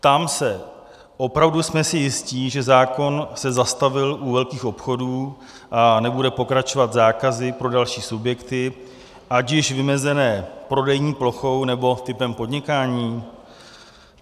Ptám se: opravdu jsme si jisti, že zákon se zastavil u velkých obchodů a nebude pokračovat zákazy pro další subjekty, ať již vymezené prodejní plochou, nebo typem podnikání?